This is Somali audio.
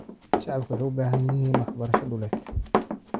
Shacabku waxay u baahan yihiin waxbarasho dhuleed.